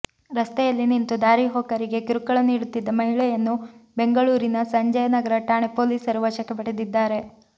ರಸ್ತೆಯಲ್ಲಿ ನಿಂತು ದಾರಿಹೋಕರಿಗೆ ಕಿರುಕುಳ ನೀಡುತ್ತಿದ್ದ ಮಹಿಳೆಯನ್ನು ಬೆಂಗಳೂರಿನ ಸಂಜಯನಗರ ಠಾಣೆ ಪೊಲೀಸರು ವಶಕ್ಕೆ ಪಡೆದಿದ್ದಾರೆ